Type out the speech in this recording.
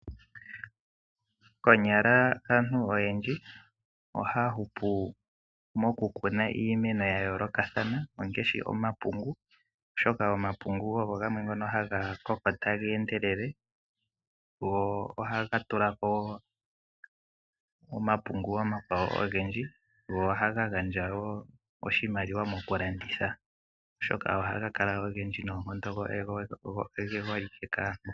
Konyala aantu oyendji ohaya hupu mokukuna iimeno ya yoolokathana, ngaashi omapungu, oshoka omapungu ogo gamwe ngono haga koko taga endelele, go ohaga tula ko mbala, go ohaga gandja oshimaliwa mokulanditha. Ohaga kala ogendji noonkondo go oge holike kaantu.